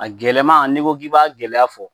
A gɛlɛman n'i ko k'i b'a gɛlɛya fɔ